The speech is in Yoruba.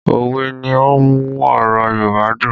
Òwe ni ó ń mú ọ̀rọ̀ Yorùbá dùn